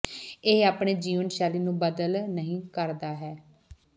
ਇਹ ਆਪਣੇ ਜੀਵਨ ਸ਼ੈਲੀ ਨੂੰ ਬਦਲ ਨਹੀ ਕਰਦਾ ਹੈ